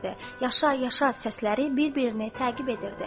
Yaşa, yaşa səsləri bir-birini təqib edirdi.